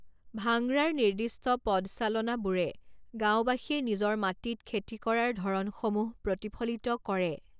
ভাঙৰাৰ নিৰ্দিষ্ট পদচালনাবোৰে গাঁওবাসীয়ে নিজৰ মাটিত খেতি কৰাৰ ধৰণসমূহ প্ৰতিফলিত কৰে।